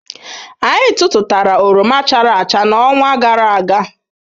Anyị tụtụtara oroma chara acha n'ọnwa gara aga.